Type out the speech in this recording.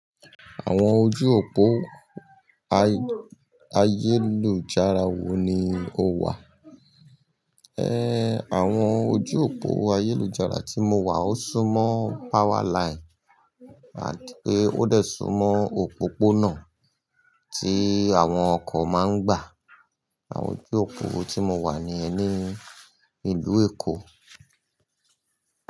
Àwọn ojú òpó ayélujára wo ni o wà? Àwọn ojú òpó ayélujára tí mo wà ó súmọ́ powerline àti pé ó dẹ̀ súmọ́ òpópónà tí àwọn ọkọ̀ máa ń gbà. Àwọn ojú òpó tí mo wà ni yẹn ní ìlú Èkó.